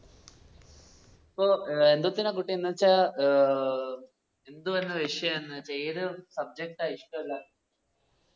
പ്പോ ഏർ ന്തോതിനാ കിട്ടീന്ന് വെച്ചാ ഏർ ന്തുവാ ന്ന വിശ്യം എന്ന് ഏത് subject ആ ഇഷ്ടവല്ലാതെ?